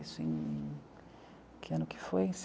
Isso em... Que ano que foi?